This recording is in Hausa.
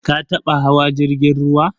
Ka taba hawa jirgin ruwa?